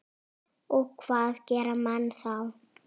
Og hvað gera menn þá?